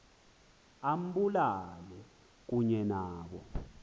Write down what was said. ambulale kunye nabo